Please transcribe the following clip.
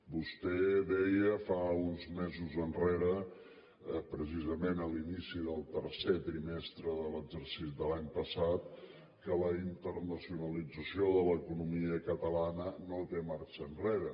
vostè deia fa uns mesos precisament a l’inici del tercer trimestre de l’any passat que la internacionalització de l’economia catalana no té marxa enrere